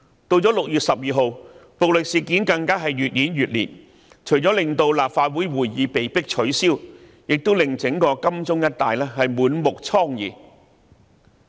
及至6月12日，暴力事件更越演越烈，除了令立法會會議被迫取消，亦令整個金鐘一帶滿目瘡痍。